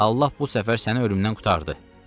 Allah bu səfər səni ölümdən qurtardı.”